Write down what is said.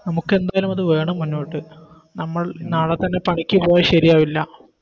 നമുക്ക് എന്തായാലും അത് വേണം മുന്നോട്ട് നമ്മൾ നാളെ തന്നെ പണിക്ക് പോയാൽ ശരിയാവില്ല